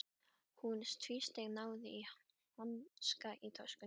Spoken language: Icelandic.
Hún tvísteig, náði í hanska í töskunni.